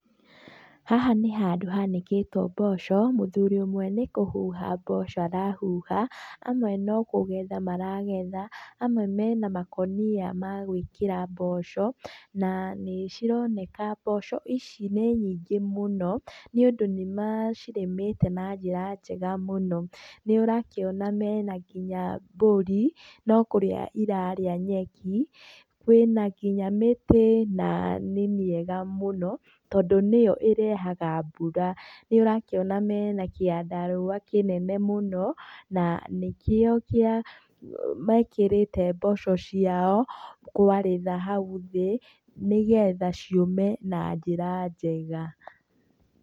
Haha nĩ handũ hanĩkĩtwo mboco, mũthuri ũmwe nĩ kũhuha mboco arahuha, amwe no kũgetha maragetha, amwe mena makũnia ma gwĩkĩra mboco. Na nĩ cironeka mboco ici nĩ nyĩngĩ mũno nĩũndũ nĩ macirĩmĩire na njĩra njega mũno. Nĩ ũrakiona mena nginya mbũri, no kũrĩa irarĩa nyeki. Kwĩna nginya mĩtĩ na nĩ mĩega mũno tondũ nĩyo ĩrehaga mbura. Nĩ ũrakĩona mena kĩandarũa kĩnene mũno na nĩkĩo kĩa mekĩrĩte mboco ciao kwarĩra hau thĩ, nĩgetha ciũme na njĩra njega.